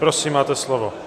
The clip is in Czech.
Prosím, máte slovo.